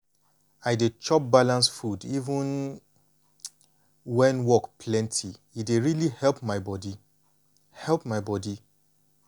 i dey chop balanced food even when work plenty e dey really help my body. help my body.